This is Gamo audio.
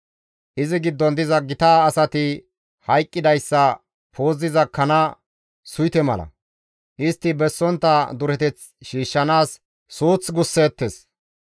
Izi giddon diza gita asati hayqqidayssa puuziza kana suyte mala; istti bessontta dureteth shiishshanaas suuth gusseettes.